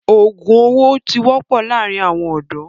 òògùn owó ti wọ́pọ̀ láàrin àwọn ọ̀dọ́.